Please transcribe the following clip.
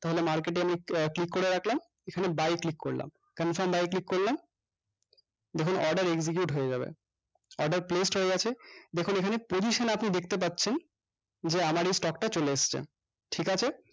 তাহলে market এ আমি আহ click করে রাখলাম এখানে এ buy এ click করলাম confirm buy এ click করলাম দেখুন order execute হয়ে যাবে order placed হয়ে গেছে দেখুন এখানে position আপনি দেখতে পাচ্ছেন যে আমার এই stock টা চলে আসছে ঠিকাছে